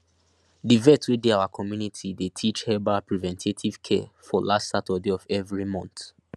the vet wey dey our community dey teach herbal preventative care for last saturday of every month